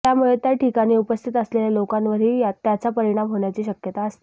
त्यामुळे त्या ठिकाणी उपस्थित असलेल्या लोकांवरही त्याचा परिणाम होण्याची शक्यता असते